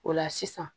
O la sisan